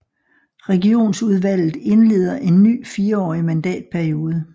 Regionsudvalget indleder en ny fireårig mandatperiode